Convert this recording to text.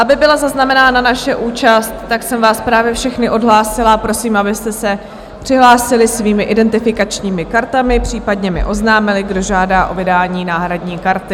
Aby byla zaznamenána naše účast, tak jsem vás právě všechny odhlásila a prosím, abyste se přihlásili svými identifikačními kartami, případně mi oznámili, kdo žádá o vydání náhradní karty.